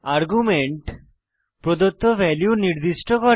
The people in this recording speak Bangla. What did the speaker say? আর্গুমেন্ট প্রদত্ত ভ্যালু নির্দিষ্ট করে